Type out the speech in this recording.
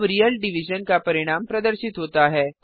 अब real division का परिणाम प्रदर्शित होता है